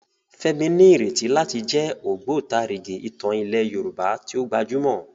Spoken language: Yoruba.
Fẹ́mi ní ìrètí láti jẹ́ ògbótarìgì ìtàn ilẹ̀ Yorùbá tí ó gbajúmọ̀.